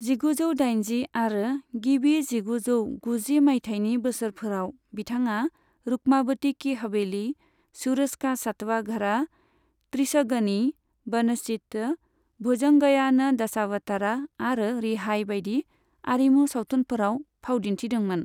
जिगुजौ दाइनजि आरो गिबि जिगुजौ गुजि मायथाइनि बोसोरफोराव बिथाङा रुक्मावती की हवेली, सूरज का सातवा घ'ड़ा, त्रिशगनी, वनचित, भुजंगय्यान दशावथारा आरो रिहाई बायदि आरिमु सावथुनफोराव फावदिन्थिदोंमोन।